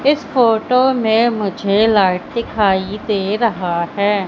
इस फोटो में मुझे लाइट दिखाई दे रहा है।